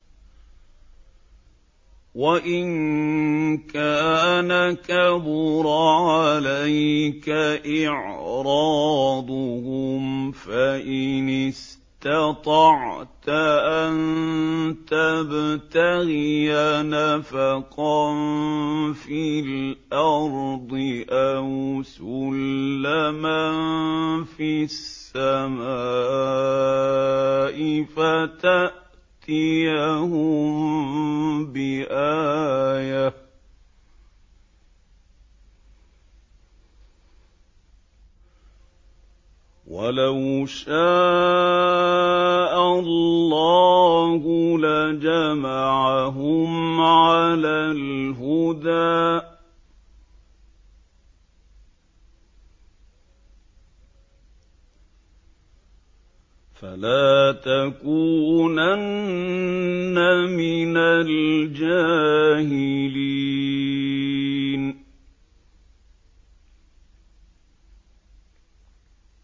وَإِن كَانَ كَبُرَ عَلَيْكَ إِعْرَاضُهُمْ فَإِنِ اسْتَطَعْتَ أَن تَبْتَغِيَ نَفَقًا فِي الْأَرْضِ أَوْ سُلَّمًا فِي السَّمَاءِ فَتَأْتِيَهُم بِآيَةٍ ۚ وَلَوْ شَاءَ اللَّهُ لَجَمَعَهُمْ عَلَى الْهُدَىٰ ۚ فَلَا تَكُونَنَّ مِنَ الْجَاهِلِينَ